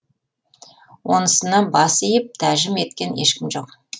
онысына бас иіп тәжім еткен ешкім жоқ